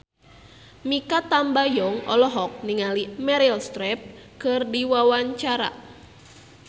Mikha Tambayong olohok ningali Meryl Streep keur diwawancara